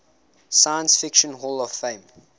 science fiction hall of fame